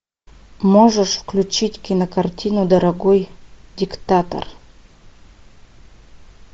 можешь включить кинокартину дорогой диктатор